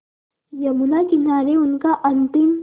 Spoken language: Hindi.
यमुना किनारे उनका अंतिम